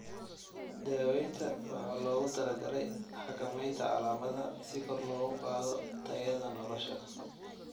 Daaweynta waxaa loogu talagalay xakameynta calaamadaha si kor loogu qaado tayada nolosha.